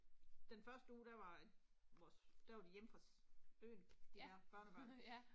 Den første uge der var vores, der var de hjemme fra øen, de der børnebørn